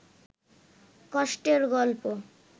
কষ্টের গল্প